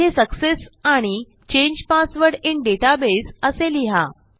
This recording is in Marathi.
येथे सक्सेस आणि चांगे पासवर्ड इन डेटाबेस असे लिहा